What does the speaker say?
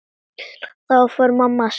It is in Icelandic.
Þá fór mamma að skæla.